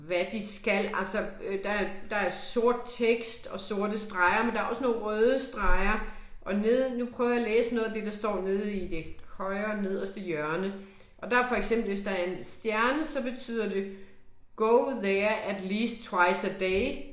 Hvad de skal altså, der er der er sort tekst og sorte streger, men der er også nogle røde streger, og nede nu prøver jeg at læse noget af det, der står nede i det højre nederste hjørne og der for eksempel hvis der er en stjerne så betyder det go there at least twice a day